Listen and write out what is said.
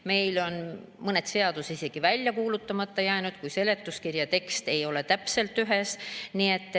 Meil on mõned seadused isegi välja kuulutamata jäänud, kui seletuskirja tekst ei ole olnud täpselt.